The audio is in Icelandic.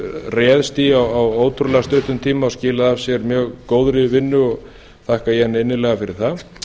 réðst í á ótrúlega stuttum tíma og skilaði af sér mjög góðri vinnu og þakka ég henni innilega fyrir það